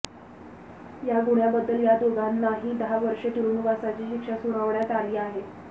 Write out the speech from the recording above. या गुन्ह्याबद्दल या दोघांनाही दहा वर्षे तुरुंगवासाची शिक्षा सुनावण्यात आली आहे